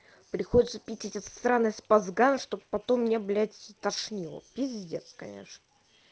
приходится пить этот странный спазган чтобы потом мне блять тошнило пиздец конечно